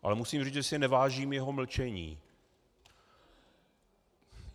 Ale musím říct, že si nevážím jeho mlčení.